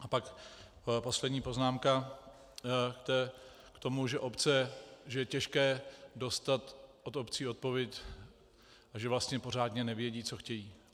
A pak poslední poznámka k tomu, že je těžké dostat od obcí odpověď a že vlastně pořádně nevědí, co chtějí.